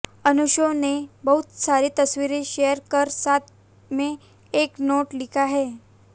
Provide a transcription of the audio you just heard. अनुशे ने बहुत सारी तस्वीरें शेयर कर साथ में एक नोट लिखा है